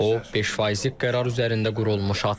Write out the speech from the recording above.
O, 5 faizlik qərar üzərində qurulmuş addımdır.